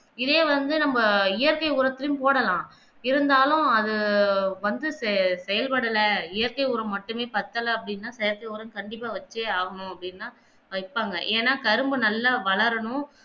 இதே வந்து நம்ம இயற்கை ஊரத்திலும் போடலாம் இருந்தாலும் அது வந்து சே செயல்படல இயற்கை ஊரம் மட்டுமே பத்தல அப்படின்னா செயற்கை ஊரம் கண்டிப்பா வெச்சே ஆகணும் அப்டின்னா அது எப்பங்க ஏன்னா கரும்பு நல்லா வளரனும்